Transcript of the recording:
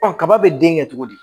kaba bɛ den kɛ cogo di